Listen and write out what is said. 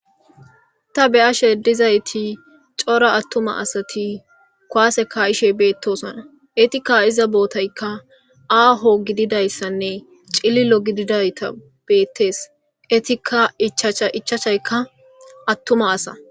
Ta be7ashe dizayti cora attumati asati kuwaase kaa7ishe beettosona. Eti ka7iza bootaykka aaho gididayssanne cililo gididayta beettees. Etikka ichacha ichachaykka attum asa.